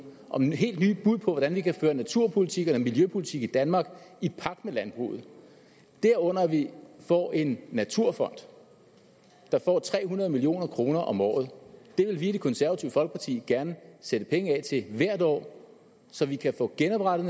og et helt nyt bud på hvordan vi kan føre naturpolitik eller miljøpolitik i danmark i pagt med landbruget derunder at vi får en naturfond der får tre hundrede million kroner om året det vil vi i det konservative folkeparti gerne sætte penge af til hvert år så vi kan få genoprettet